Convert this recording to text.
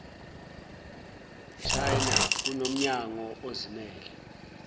china kunomnyango ozimmele